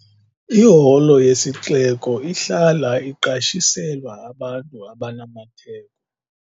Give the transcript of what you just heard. Iholo yesixeko ihlala iqeshiselwa abantu abanamatheko.